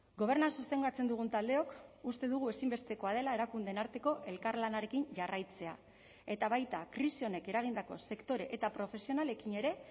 gobernua sostengatzen dugun taldeok uste dugu ezinbestekoa dela erakundeen arteko elkarlanarekin jarraitzea eta baita krisi honek eragindako sektore eta profesionalekin ere